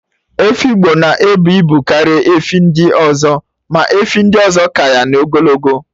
Efi Igbo na-ebu ibu karịa efi ndị ọzọ, ma efi ndị ọzọ ka ya n'ogologo